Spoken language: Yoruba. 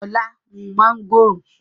Ọlá mú mángòrò